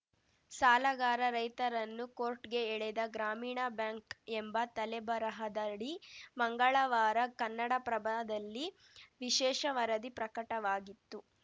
ಸಾಲಗಾರ ರೈತರನ್ನು ಕೋರ್ಟ್‌ಗೆ ಎಳೆದ ಗ್ರಾಮೀಣ ಬ್ಯಾಂಕ್‌ ಎಂಬ ತಲೆಬರಹದಡಿ ಮಂಗಳವಾರ ಕನ್ನಡಪ್ರಭದಲ್ಲಿ ವಿಶೇಷ ವರದಿ ಪ್ರಕಟವಾಗಿತ್ತು